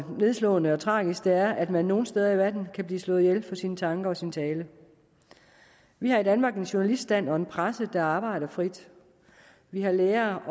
nedslående og tragisk det er at man nogle steder i verden kan blive slået ihjel for sine tanker og sin tale vi har i danmark en journaliststand og en presse der arbejder frit vi har lærere